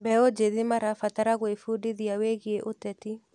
Mbeũ njĩthĩ marabatara gwĩbundithia wĩgiĩ ũteti.